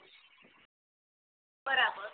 બરાબર